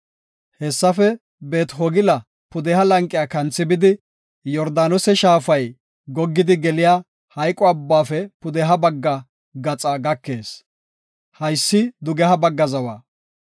Hessafe Beet-Hogila pudeha lanqiya kanthi bidi, Yordaanose shaafay goggidi geliya Maxine Abbaafe pudeha bagga gaxa gakees. Haysi dugeha bagga zawa.